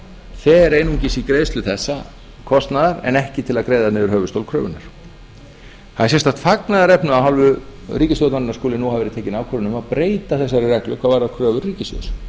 fer einungis í greiðslu þessa kostnaðar en ekki til að greiða niður höfuðstól kröfunnar það er sérstakt fagnaðarefni að af hálfu ríkisstjórnarinnar skuli nú hafa verið tekin ákvörðun um að breyta þessari reglu hvað varðar kröfur ríkissjóðs